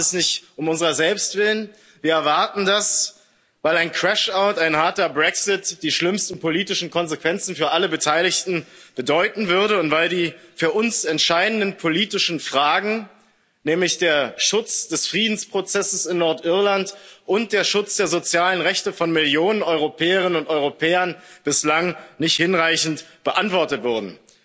Und wir erwarten das nicht um unserer selbst willen, wir erwarten das, weil ein crash out, ein harter Brexit, die schlimmsten politischen Konsequenzen für alle Beteiligten bedeuten würde und weil die für uns entscheidenden politischen Fragen, nämlich der Schutz des Friedensprozesses in Nordirland und der Schutz der sozialen Rechte von Millionen Europäerinnen und Europäern, bislang nicht hinreichend beantwortet wurden.